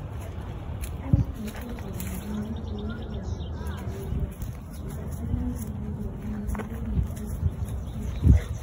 Bos techetab mionwogik cheibu tiongiik che mengechen ibut indet nekomii en kenyisiek che terter.